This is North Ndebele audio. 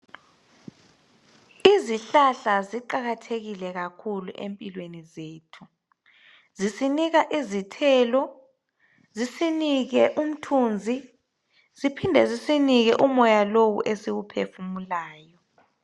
Izihlahla ziqakathekile kakhulu empilweni zethu. Zisinika izithelo zisinike umthunzi ziphinde zisinike umoya lowu esiwephefumulayo.